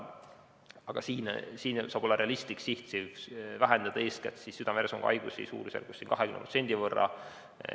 Aga siin saab olla realistlik siht vähendada eeskätt südame-veresoonkonnahaigusi suurusjärgus 20% .